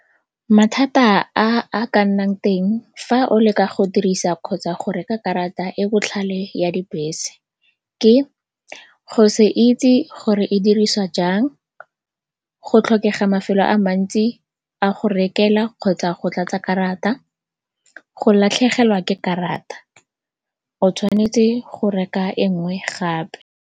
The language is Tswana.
Mathata a a ka nnang teng fa o leka go dirisa kgotsa go reka karata e botlhale ya dibese ke go se itse gore e dirisiwa jang, go tlhokega mafelo a mantsi a go rekelwa kgotsa go tlatsa karata. Go latlhegelwa ke karata, o tshwanetse go reka e nngwe gape.